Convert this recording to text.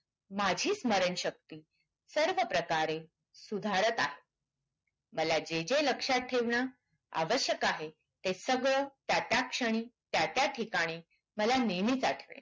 माझी स्मरण शक्ति सर्व प्रकारे सुधारात आहे मला जे जे लक्ष्यात ठेवणे आवश्यक आहे ते सगळं त्या त्या क्षणी त्या त्या ठिकाणी मला नेहमीच आठवेल